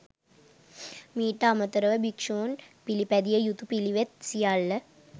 මීට අමතරව භික්‍ෂූන් පිළිපැදිය යුතු පිළිවෙත් සියල්ල